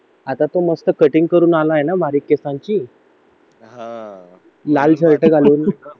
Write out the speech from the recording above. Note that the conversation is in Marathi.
आता तो मस्त कटिंग करून आलाय ना बारीक केसांची लाल शर्ट घालून